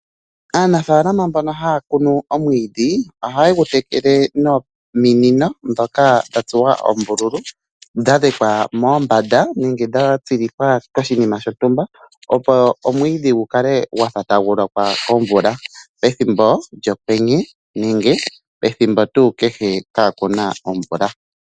Aanafalama mbono haa kunu omwiidhi, oha ye dhitekele nominino dha tsuwa oombululu , dha lekwa mombanda nenge gwa tsilikwa koshinima shontumba. Opo omwiidhi gu kale gwafa tagu lokwa kovula pethimbo lyokwenye nenge pethimbo tuu kehe kaa kuna omvula.